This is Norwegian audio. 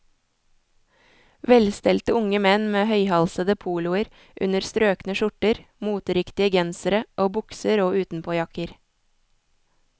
Velstelte unge menn med høyhalsede poloer under strøkne skjorter, moteriktige gensere og bukser og utenpåjakker.